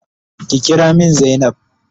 Ki kira min zainab.